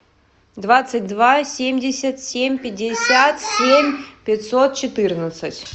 двадцать два семьдесят семь пятьдесят семь пятьсот четырнадцать